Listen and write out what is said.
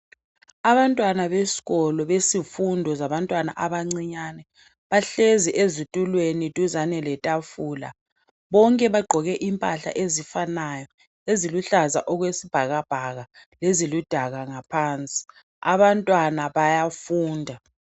Abantwana besikolo besifundo zabantwana abancinyani bahlezi ezitulweni duzane letafula bonke bagqoke impahla ezifanayo eziluhlaza okwesibhakabhaka leziludaka ngaphansi. Abantwana bayafunda.